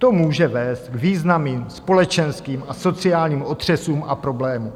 To může vést k významným společenským a sociálním otřesům a problémům.